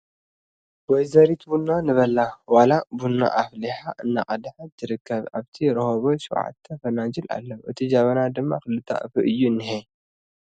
ወይዘሪት ቡና ንበላ ዋላ ቡን ኣፍሊሓ እንዳቐድሓት ትርከብ ኣብቲ ረሆበት ሸውዓተ ፈናጅል ኣለዉ እቲ ጀበና ድማ ክልተ ኣፉ እዩ እንኤ ።